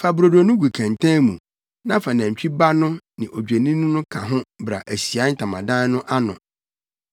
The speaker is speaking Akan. Fa brodo no gu kɛntɛn mu na fa nantwi ba no ne odwennini no ka ho bra Ahyiae Ntamadan no ano.